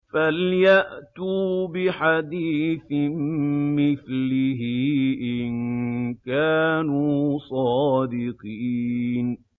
فَلْيَأْتُوا بِحَدِيثٍ مِّثْلِهِ إِن كَانُوا صَادِقِينَ